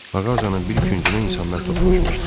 Ağacının bir küncünə insanlar toplaşmışdı.